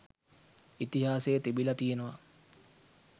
ඉතිහාසයේ තිබිලා තියෙනවා